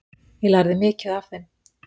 Ég lærði mikið af þeim.